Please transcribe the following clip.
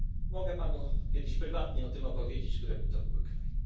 uwagę. Mogę panu kiedyś prywatnie o tym opowiedzieć, które by to były